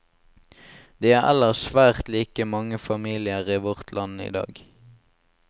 De er ellers svært like mange familier i vårt land idag.